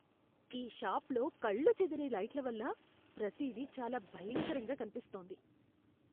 ఈ షాప్లో కళ్ళు చెదిరే లైట్ల వల్ల ప్రతిదీ చాలా భయంకరంగా కనిపిస్తోంది.